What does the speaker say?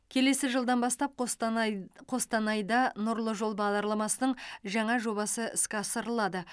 келесі жылдан бастап қостанайд қостанайда нұрлы жол бағдарламасының жаңа жобасы іске асырылады